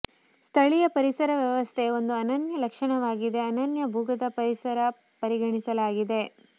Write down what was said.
ಸ್ಥಳೀಯ ಪರಿಸರ ವ್ಯವಸ್ಥೆಯ ಒಂದು ಅನನ್ಯ ಲಕ್ಷಣವಾಗಿದೆ ಅನನ್ಯ ಭೂಗತ ಪರಿಸರ ಪರಿಗಣಿಸಲಾಗಿದೆ